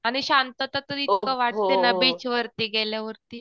आणि शांतात तर इतकं वाटते ना बीच वरती गेल्यावरती